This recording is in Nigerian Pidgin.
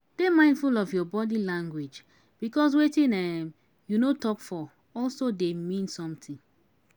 Dey mindful of your body language because wetin um you no talk for also dey mean something